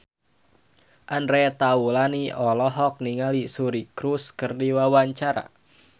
Andre Taulany olohok ningali Suri Cruise keur diwawancara